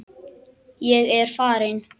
Ég er farinn!